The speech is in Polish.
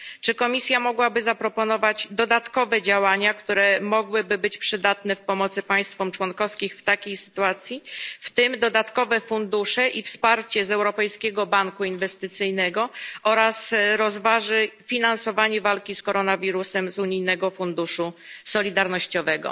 Czy Komisja mogłaby zaproponować dodatkowe działania, które mogłyby być przydatne w pomocy państwom członkowskim w takiej sytuacji, w tym dodatkowe fundusze i wsparcie z Europejskiego Banku Inwestycyjnego, oraz czy rozważy finansowanie walki z koronawirusem z unijnego funduszu solidarnościowego?